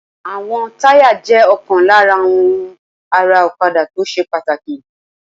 Àwọn táyà jẹ́ ọ̀kan lára àwọn ohun ara ọ̀kadà tó ṣe pàtàkì